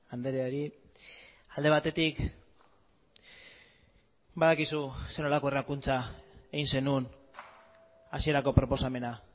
andreari alde batetik badakizu zer nolako errakuntza egin zenuen hasierako proposamena